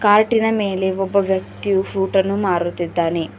ಕಾರ್ಟಿನ ಮೇಲೆ ಒಬ್ಬ ವ್ಯಕ್ತಿಯು ಫ್ರೂಟನ್ನು ಮಾರುತ್ತಿದ್ದಾನೆ.